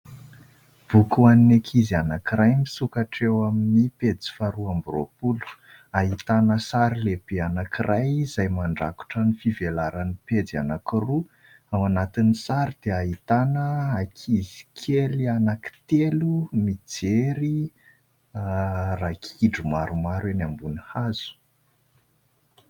Boky ho an'ny ankizy anankiray misokatra eo amin'ny pejy faharoa amby roapolo, ahitana sary lehibe anankiray izay mandrakotra ny fivelaran'ny pejy anankiroa. Ao anatin'ny sary dia ahitana ankizy kely anankitelo mijery ragidro maromaro eny ambony hazo.